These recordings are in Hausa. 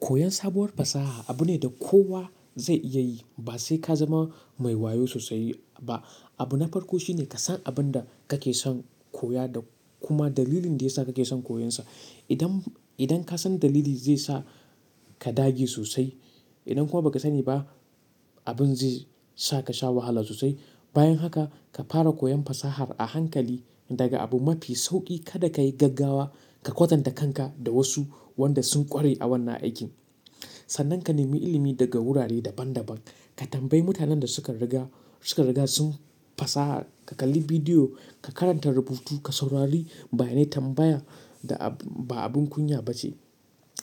Koyan sabuwar fasaha abu ne da kowa zai iya yi, ba sai ka zama mai wayo sosai ba. Abu na farko shine ka san abin da kake son koya da kuma dalilin da ya sa kake son koyonsa. Idan, idan ka san dalili zai sa ka dage sosai. Idan kuwa ba ka sani ba, abin zai sa ka sha wahala sosai. Bayan haka ka fara koyon fasahar a hankali daga abu mafi sauƙi. Kada ka yi gaggawa, ka kwatanta kanka da wasu wanda sun ƙware a wannan aikin. Sannan ka nemi ilimi daga wurare daban-daban. Ka tambayi mutanen da su ka riga, su ka riga sun fasaha, ka kalli bidiyo, ka karanta rubutu, ka saurari. Bayanai tambaya ba abin kunya ba ce.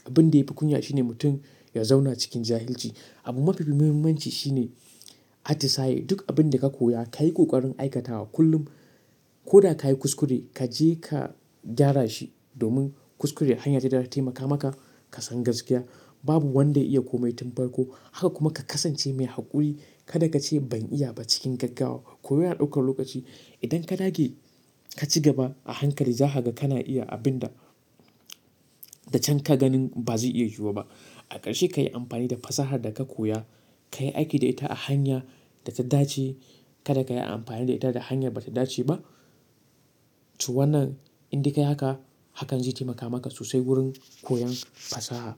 Abin da yafi kunya shine mutum ya zauna cikin jahilci. Abu mafi muhimmanci shine atisaye. Duk abin da ka koya ka yi ƙoƙarin aikatawa kullum. Ko da ka yi kuskure, ka je ka gyara shi domin kuskure hanya ce da za ta taimaka maka ka san gaskiya. Babu wanda ya iya komai tun farko. Haka kuma ka kasance mai haƙuri. Kada ka ce ban iya ba cikin gaggawa. Koyor na ɗaukar lokaci. Idan ka dage ka ci gaba a hankali, za ka ga kana iya abin da, da can ka ganin ba zai iya zuwa ba. A ƙarshe ka yi amfani da fasahar da ka koya, ka yi aiki da ita a hanya da ta dace. Kada ka yi amfani da ita da hanya ba ta dace ba. To wannan indai ka yi haka, hakan zai taimaka maka sosai wurin koyan fasaha.